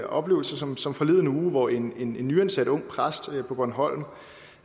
oplevelse som som forleden uge hvor en nyansat ung præst på bornholm